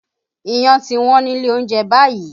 Iyán ti Wọ́n nílé oúnjẹ báyìí